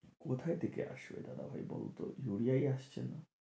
কোথায় থেকে আসবে দাদাভাই বলো তো ইউরিয়াই আসছে না